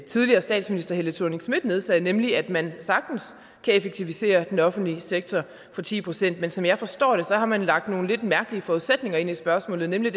tidligere statsminister helle thorning schmidt nedsatte nemlig at man sagtens kan effektivisere den offentlige sektor med ti procent men som jeg forstår det har man lagt nogle lidt mærkelige forudsætninger ind i spørgsmålet nemlig